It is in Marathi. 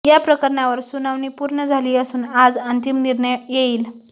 या प्रकरणावर सुनावणी पूर्ण झाली असून आज अंतिम निर्णय येईल